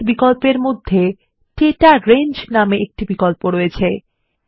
সেটপিএস বিকল্পর মধ্যে data range নামে আর একটি বিকল্প আছে